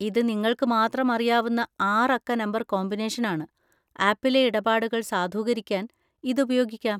ഇത് നിങ്ങൾക്ക് മാത്രം അറിയാവുന്ന ആറ് അക്ക നമ്പർ കോമ്പിനേഷനാണ്, ആപ്പിലെ ഇടപാടുകൾ സാധൂകരിക്കാൻ ഇത് ഉപയോഗിക്കാം.